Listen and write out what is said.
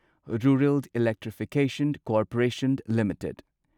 rural electrification corporation limited